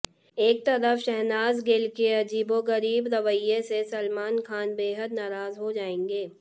एक तरफ शहनाज गिल के अजीबोगरीब रवैये से सलमान खान बेहद नाराज हो जाएंगे